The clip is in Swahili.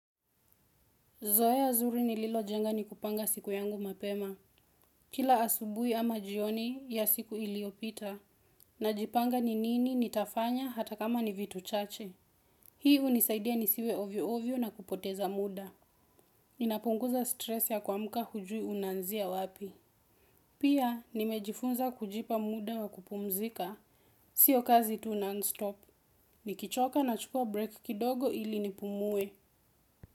Zoea zuri nililojenga ni kupanga siku yangu mapema. Kila asubuhi ama jioni ya siku iliyopita. Najipanga ni nini nitafanya hata kama ni vitu chache. Hii hunisaidia nisiwe ovyo ovyo na kupoteza muda. Ninapunguza stresi ya kuamka hujui unaazia wapi. Pia nimejifunza kujipa muda wa kupumzika. Sio kazi tu non-stop. Nikichoka na chukua break kidogo ili nipumue.